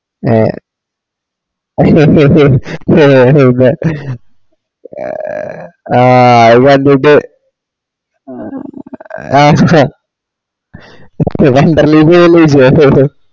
ഏ എഹ് എഹ് ആ അത് കണ്ടിറ്റ് ആ wonderla ൽ പോകുലേ ചെയ്യാ അഹ് അഹ്